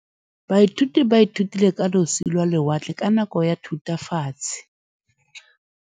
Baithuti ba ithutile ka losi lwa lewatle ka nako ya Thutafatshe.